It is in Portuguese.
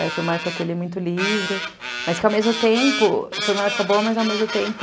Aí foi uma época que eu li muito livro, mas que ao mesmo tempo, foi uma época boa, mas ao mesmo tempo...